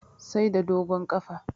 Sai da dogon ƙafa